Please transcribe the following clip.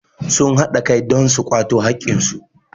sun haɗa Kai don su kwato haƙƙinsu